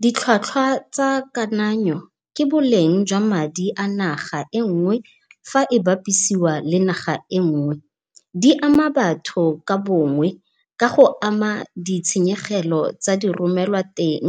Ditlhwatlhwa tsa kananyo ke boleng jwa madi a naga engwe fa e bapiswa le naga engwe. Di ama batho ka bongwe, ka go ama ditshenyegelo tsa di romelwa teng,